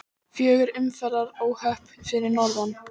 Fjögur umferðaróhöpp fyrir norðan